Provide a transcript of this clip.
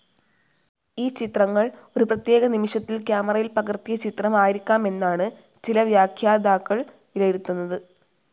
ഈ ചിത്രങ്ങൾ ഒരു പ്രത്യേക നിമിഷത്തിൽ ക്യാമറയിൽ പകർത്തിയ ചിത്രം ആയിരിക്കാമെന്നാണ് ചില വ്യാഖ്യാതാക്കൾ വിലയിരുത്തുന്നത്.